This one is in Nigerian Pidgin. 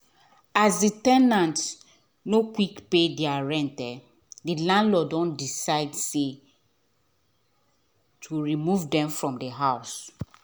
as the ten ant nor quick pay there rent um the landlord doh decide to remove them from the house